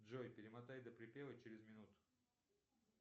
джой перемотай до припева через минуту